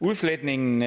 udfletningen